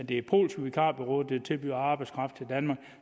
det er polske vikarbureauer der tilbyder arbejdskraft til danmark